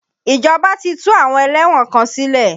Ìjọba ti tú àwọn ẹlẹ́wọ̀n kan sílẹ̀.